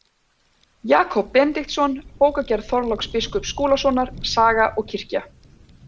Jakob Benediktsson, Bókagerð Þorláks biskups Skúlasonar, Saga og kirkja.